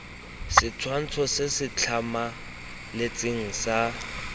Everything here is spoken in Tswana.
setshwantsho se se tlhamaletseng sa